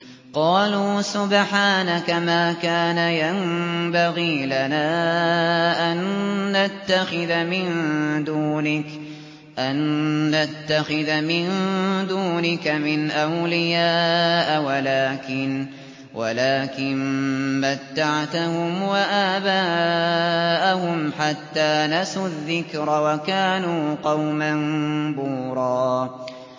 قَالُوا سُبْحَانَكَ مَا كَانَ يَنبَغِي لَنَا أَن نَّتَّخِذَ مِن دُونِكَ مِنْ أَوْلِيَاءَ وَلَٰكِن مَّتَّعْتَهُمْ وَآبَاءَهُمْ حَتَّىٰ نَسُوا الذِّكْرَ وَكَانُوا قَوْمًا بُورًا